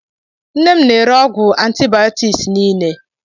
Nne m na-ere ọgwụ antibiotics nille.